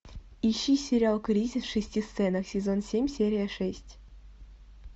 ищи сериал кризис в шести сценах сезон семь серия шесть